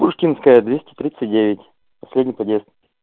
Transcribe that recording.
пушкинская двести тридцать девять последний подъезд